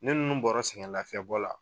Ne ninnu bɔra sɛgɛnlafiyabɔ la